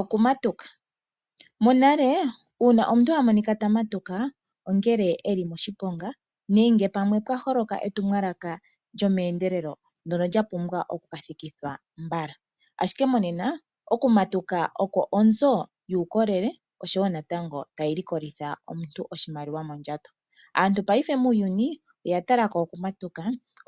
Oku matuka, monale ngele omuntu okwa monika ta matuka, ongele e li moshiponga nenge pamwe pwa holoka etumwalaka lyomeendelelo ndyono lya pumbwa oku ka thikithwa mbala. Ashike monena okumatuka oko onzo yuukolele, oshowo natango taku likolitha omuntu oshimaliwa mondjato. Aantu paife muuyuni oya tala ko okumatuka